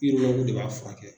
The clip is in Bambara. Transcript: IMAV de b'a fɔ furakɛ kɛ.